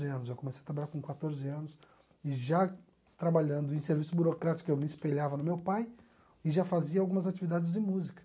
Eu comecei a trabalhar com quatorze anos e já trabalhando em serviço burocrático, eu me espelhava no meu pai e já fazia algumas atividades de música.